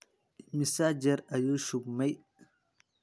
Immisa jeer ayuu shubmay?